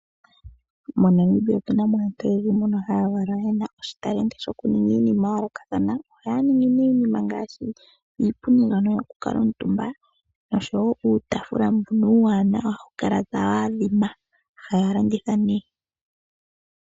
MoNamibia otu na mo aantu oyendji mbono haya valwa ye na oshitalenti yokuninga iinima oyindji ya yoolokathana. Ohaya ningi iinima ngaashi iipundi mbyono yokukuutumba noshowo uutaafula mbono uuwanawa hawu kala tawu adhima. Ohaya landitha nduno.